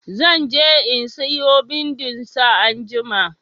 Zan je in siyo bindin sa anjima.